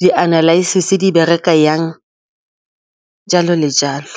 di-analysis di bereka jang jalo le jalo.